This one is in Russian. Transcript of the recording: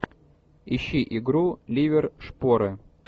ищи игру ливер шпоры